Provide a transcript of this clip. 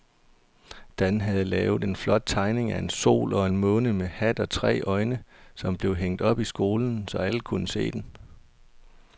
Dan havde lavet en flot tegning af en sol og en måne med hat og tre øjne, som blev hængt op i skolen, så alle kunne se den.